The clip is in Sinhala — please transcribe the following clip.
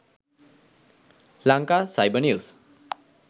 lanka cyber news